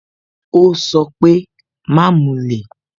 Ó sọ pé "Má mulẹ̀